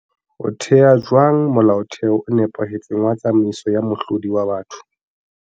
O thea jwang molaotheo o nepahetseng wa tsamaiso ya mohlodi wa batho?